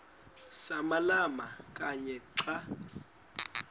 samalama kanye xa